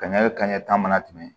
Kaɲɛ kaɲɛ ta mana tɛmɛ